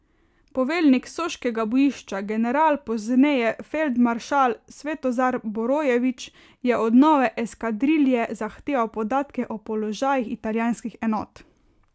Poveljnik soškega bojišča, general, pozneje feldmaršal, Svetozar Borojević, je od nove eskadrilje zahteval podatke o položajih italijanskih enot.